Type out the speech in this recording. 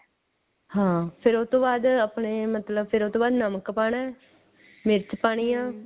ਹਾਂ ਫੇਰ ਉਹ ਤੋਂ ਬਾਅਦ ਆਪਣੇ ਮਤਲਬ ਫੇਰ ਉਹ ਤੋਂ ਬਾਅਦ ਨਮਕ ਪਾਣਾ ਮਿਰਚ ਪਾਣੀ ਐ